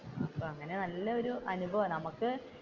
അപ്പൊ അങ്ങനെ നല്ലയൊരു അനുഭവമാണ് നമുക്ക്